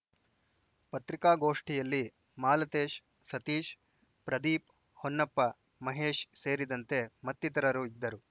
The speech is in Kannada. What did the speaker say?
ಪತ್ರಿಕಾಗೋಷ್ಠಿಯಲ್ಲಿ ಮಾಲತೇಶ್‌ ಸತೀಶ್‌ ಪ್ರದೀಪ್‌ ಹೊನ್ನಪ್ಪ ಮಹೇಶ್‌ ಸೇರಿದಂತೆ ಮತ್ತಿತರರು ಇದ್ದರು